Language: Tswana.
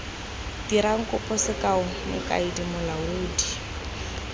dirang kopo sekao mokaedi molaodi